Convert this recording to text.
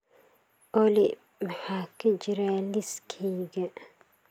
olly maxaa ka jira liiskayga